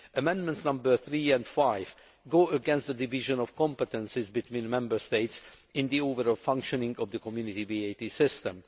Amendments 3 and 5 go against the division of competences between Member States in the overall functioning of the Community VAT system.